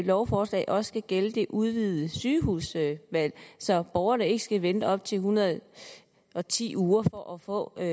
lovforslag også skal gælde det udvidede sygehusvalg så borgerne ikke skal vente i op til en hundrede og ti uger på at